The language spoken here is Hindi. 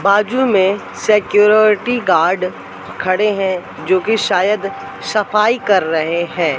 बाजू में सिक्योरिटी गार्ड खड़े हैं जो कि शायद सफाई कर रहे हैं।